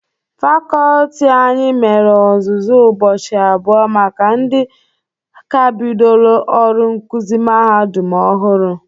Fakọlti anyị mere ọzụzụ ụbọchị abụọ maka ndị ka bidoro ọrụ nkụzị mahadum ọhụrụ.